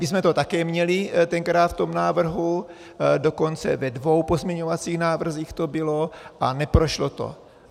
My jsme to také měli tenkrát v tom návrhu, dokonce ve dvou pozměňovacích návrzích to bylo, a neprošlo to.